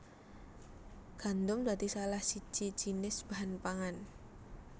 Gandum dadi salah siji jinis bahan pangan